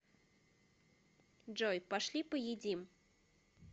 джой пошли поедим